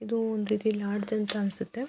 ಇದು ಒಂದು ರೀತಿ ಲಾಡ್ಜ್ ಅಂತ ಅನಿಸುತ್ತೆ.